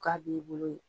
K'a b'i bolo yen